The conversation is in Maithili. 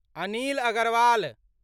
अनिल अगरवाल